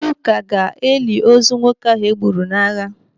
Ndị ụka ga-eli ozu nwoke ahụ e gburu n'agham